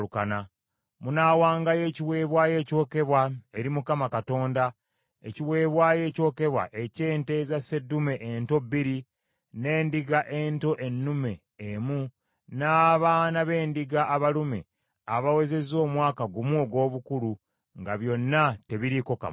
Munaawangayo ekiweebwayo ekyokebwa eri Mukama Katonda, ekiweebwayo ekyokebwa eky’ente eza sseddume ento bbiri, n’endiga ento ennume emu, n’abaana b’endiga abalume abawezezza omwaka gumu ogw’obukulu; nga byonna tebiriiko kamogo.